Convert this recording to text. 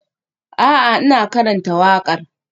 A'a, ina karanta waƙar.